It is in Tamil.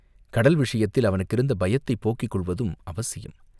கடல் விஷயத்தில் அவனுக்கிருந்த பயத்தைப் போக்கிக் கொள்வதும் அவசியம்.